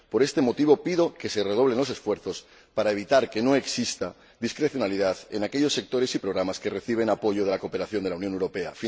Por este motivo, pido que se redoblen los esfuerzos para evitar que exista discrecionalidad en aquellos sectores y programas que reciben apoyo de la cooperación de la Unión Europea.